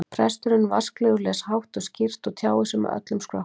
Presturinn vasklegur, les hátt og skýrt og tjáir sig með öllum skrokknum.